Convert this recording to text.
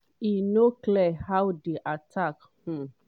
e no clear how di attack - um wey